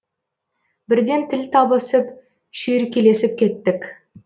бірден тіл табысып шүйіркелесіп кеттік